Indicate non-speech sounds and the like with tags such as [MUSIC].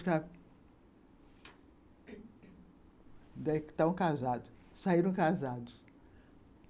[UNINTELLIGIBLE] Daí estavam casados, saíram casados.